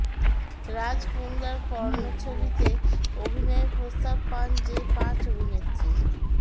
রাজ কুন্দ্রার পর্নো ছবিতে অভিনয়ের প্রস্তাব পান যে পাঁচ অভিনেত্রী